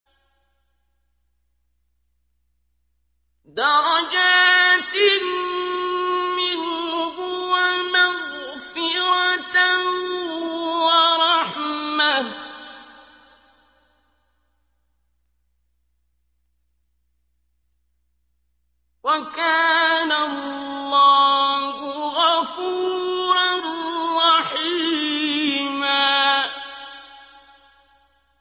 دَرَجَاتٍ مِّنْهُ وَمَغْفِرَةً وَرَحْمَةً ۚ وَكَانَ اللَّهُ غَفُورًا رَّحِيمًا